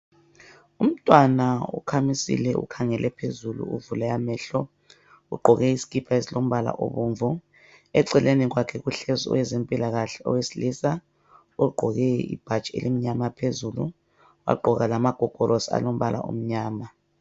Umntwana ukhamisile ukhangele phezulu uvule amehlo ugqoke isikipa esilombala obomvu eceleni kwakhe kuhlezi owezempilakahle owesilisa ogqoke ibhatshi elimnyama phezulu wagqoka lamagogolosi alombala omnyama.